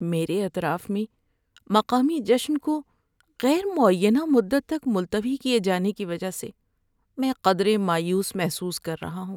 میرے اطراف میں مقامی جشن کو غیر معینہ مدت تک ملتوی کیے جانے کی وجہ سے میں قدرے مایوس محسوس کر رہا ہوں۔